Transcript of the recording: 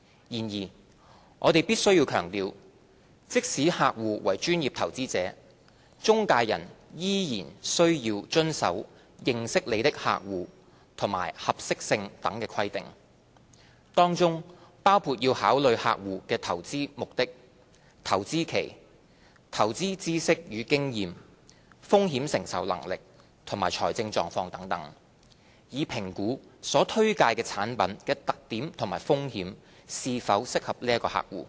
然而，我們必須強調，即使客戶為專業投資者，中介人仍須遵守"認識你的客戶"及合適性等規定，當中包括要考慮客戶的投資目標、投資期、投資知識與經驗、風險承受能力及財政狀況等，以評估所推介產品的特點及風險是否適合該客戶。